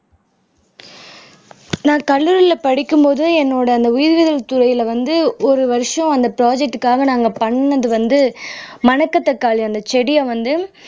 நான் கல்லூரியில படிக்கும் போது என்னோட அந்த உயிரியல் துறையில வந்து ஒரு வருஷம் அந்த ப்ராஜெக்ட்க்காக நாங்க பண்ணது வந்து மணக்கத்தக்காளி அந்த செடிய வந்து